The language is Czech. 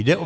Jde o